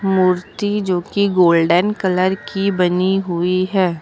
मूर्ति जोकि golden colour की बनी हुई है।